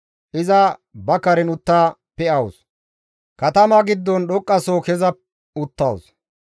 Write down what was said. Iza ba karen utta pe7awus; katama giddon dhoqqaso keza uttawus.